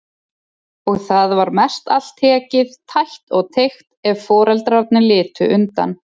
Og það var mestallt tekið, tætt og teygt, ef foreldrarnir litu undan.